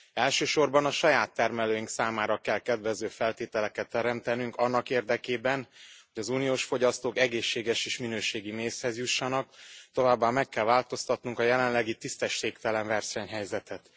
Elsősorban a saját termelőink számára kell kedvező feltételeket teremtenünk annak érdekében, hogy az uniós fogyasztók egészséges és minőségi mézhez jussanak, továbbá meg kell változtatnunk a jelenlegi tisztességtelen versenyhelyzetet.